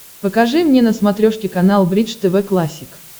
покажи мне на смотрешке канал бридж тв классик